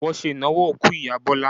Wọn ṣe ìnáwó òkú ìyá Bọ́lá.